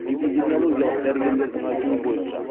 эпидемиологиялық дәрігерлердің айтуы бойынша